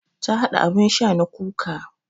Ta haɗa abun sha na kuka